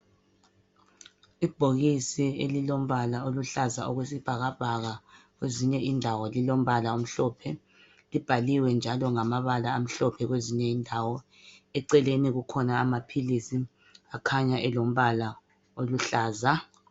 Ibhokisi elilombala oluhlaza owesibhakabhaka kwezinye indawo lilombala omhlophe ibhaliwe njalo ngamabala amhlophe kwezinye indawo eceleni kukhona amaphilisi akhanya elombala oluhlaza